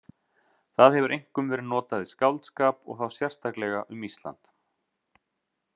Það hefur einkum verið notað í skáldskap og þá sérstaklega um Ísland.